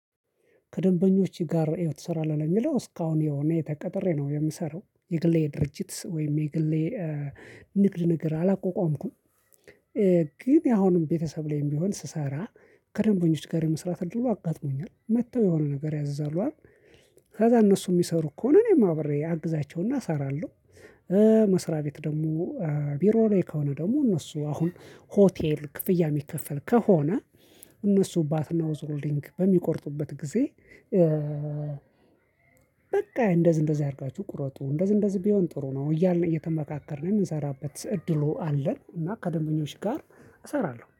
ከደንበኞች ጋር ትሰራለህ ለሚለው እስካሁን የሆነ ተቀጥሬ ነው የምሰራው የግሌ ድርጅት ወይም የግሌ ንግድ ነገር አላቋቋምኩም። ግን ያሁንም ቤተሰብ ላይም ቢሆን ስሰራ ከደንበኞች ጋር የመስራት እድሉ አጋጥሞኛል መጥተው የሆነ ነገር ያዛሉ አይደል? ከዛ እነሱ የሚሰሩ ከሆነ እኔም አብሬ አግዛቸውና እሰራለሁ። መስሪያ ቤት ደግሞ ቢሮ ላይ ከሆነ ደግሞ እነሱ አሁን ሆቴል ክፍያ የሚከፈል ከሆነ እነሱ ባትናውዝ ሮሊንግ በሚቆርጡበት ጊዜ። በቃ እንደዚህ እንደዚህ አድርጋችሁ ቁረጡ እንደዚህ እንደዚህ ቢሆን ጥሩ ነው እያልን እየተመካከርን የምንሰራበት እድሉ አለን። እና ከደንበኞች ጋር እሰራለሁ